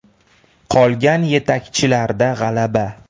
Qolgan yetakchilarda g‘alaba.